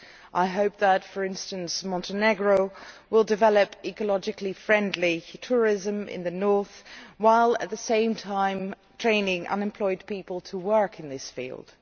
I hope that, for instance, Montenegro will develop ecologically friendly tourism in the north while at the same time training unemployed people to work in this field.